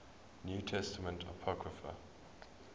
new testament apocrypha